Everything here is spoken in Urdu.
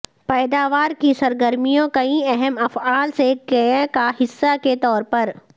پیداوار کی سرگرمیوں کئی اہم افعال سے کئے کا حصہ کے طور پر